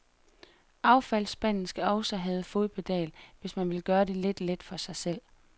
Affaldsspanden skal også have fodpedal, hvis man vil gøre det lidt let for sig selv.